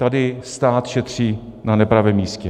Tady stát šetří na nepravém místě.